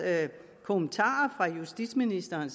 kommentar fra justitsministeren